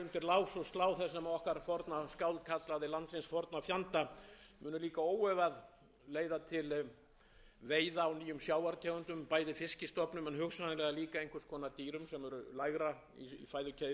lás og slá sem okkar forna skáld kallaði landsins forna fjanda muni líka óefað leiða til veiða á nýjum sjávartegundum bæði fiskstofnum en hugsanlega líka einhvers konar dýrum sem eru lægra í fæðukeðjunni og þarna opnast líka ný tækifæri